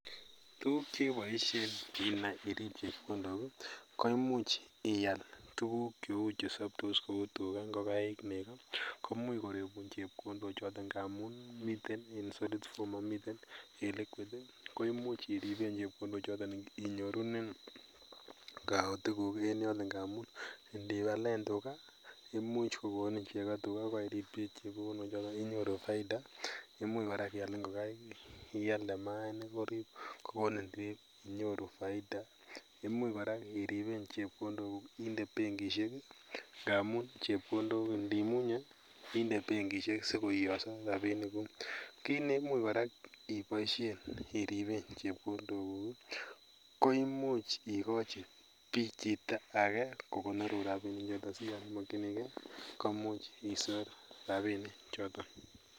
Tukuk cheboisien inai irip chepkondok koimuch ial tuguk cheu chesoptos cheu tugaa, ngokaik, nego komuch koribun chepkondochoton ngamun miten en solid form momiten en liquid koimuch irip chepkondochoton inyorunen kaotiguk ngamun indialen tugaa imuch kokonin chekoo inyoruu faida ,imuch kora ial ngokai ialde maainik kokonin inyoru faida, imuch kora iripen chepkondokuk indee benkishek ngamun indimunye indee benkishek sikoiyoso rapinikuk kit neimuch korak iboisien iripen chepkondokuk koimuch ikochi bii chito age kokonorun rapinichoton siyon imokyinigee komuch isor rapinichoton .